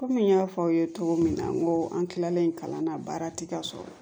Kɔmi n y'a fɔ aw ye cogo min na n ko an kilalen kalan na baara ti ka sɔrɔ